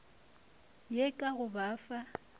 ye ka go ba fa